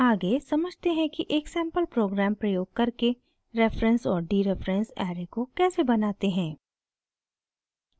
आगे समझते हैं कि एक सैंपल प्रोग्राम प्रयोग करके रेफरेंस और डीरेफरेंस ऐरे को कैसे बनाते हैं